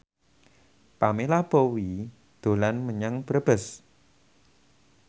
Pamela Bowie dolan menyang Brebes